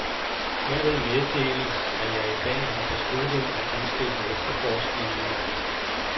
Herved meddeles, at jeg i dag har besluttet at indstille efterforskningen.